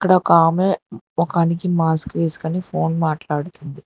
ఇక్కడ ఒక ఆమె మొఖానికి మాస్క్ వేస్కొని ఫోన్ మాట్లాడుతుంది.